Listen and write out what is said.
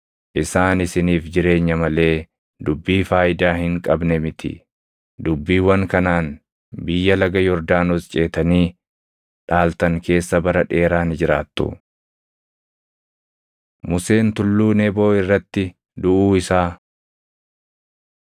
Isaan isiniif jireenya malee dubbii faayidaa hin qabne miti. Dubbiiwwan kanaan biyya laga Yordaanos ceetanii dhaaltan keessa bara dheeraa ni jiraattu.” Museen Tulluu Neboo Irratti Duʼuu Isaa